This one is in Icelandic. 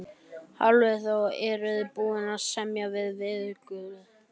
Hafþór Gunnarsson: Eruð þið búnir að semja við veðurguði?